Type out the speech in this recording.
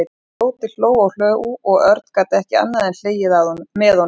Tóti hló og hló og Örn gat ekki annað en hlegið með honum.